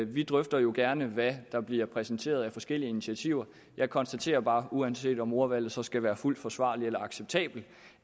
vi drøfter jo gerne hvad der bliver præsenteret af forskellige initiativer jeg konstaterer bare uanset om ordvalget så skal være fuldt forsvarlig eller acceptabel